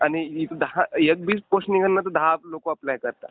आणि दहा... एक बी पोस्ट निघल ना तर दहा लोक अप्लाय करतात.